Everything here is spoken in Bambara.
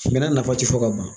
Bɛnɛ nafa tɛ fɔ ka ban